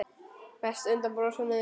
Mest undan brosinu þínu.